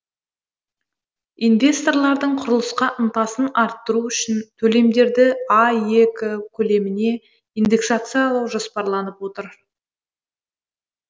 инвесторлардың құрылысқа ынтасын арттыру үшін төлемдерді аек көлеміне индексациялау жоспарланып отыр